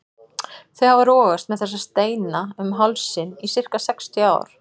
Þau hafa rogast með þessa steina um hálsinn í sirka sextíu ár.